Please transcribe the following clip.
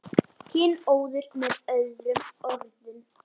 Kynóður með öðrum orðum.